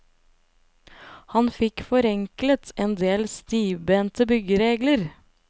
Han fikk forenklet en del stivbente byggeregler.